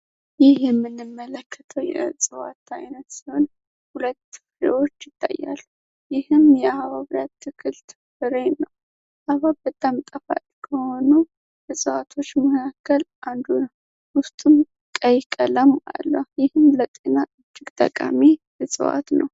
ይህ የምንመለከተው የእፅዋት አይነት ሲሆን ሁለት ተክሎች ይታያል። ይህም የሁለት ተክል የሀባብ ፍሬ ነው። ሀባብ በጣም ጣፋጭ ከሆኑ እፅዋቶች መካከል አንዱ ነው። ውስጡም ቀይ ቀለም አለው። ይህም ለጤና እጅግ ጠቃሚ እፅዋት ነው።